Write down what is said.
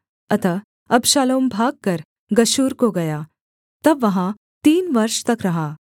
अतः अबशालोम भागकर गशूर को गया तब वहाँ तीन वर्ष तक रहा